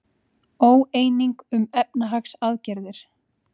Óeining um efnahagsaðgerðir